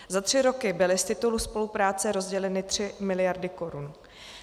Za tři roky byly z titulu spolupráce rozděleny 3 miliardy korun.